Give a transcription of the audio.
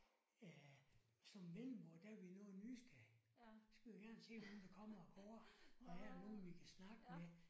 Øh som vendelboer der er vi noget nysgerrige. Så skal vi gerne se hvem der kommer og går og er der nogen vi kan snakke med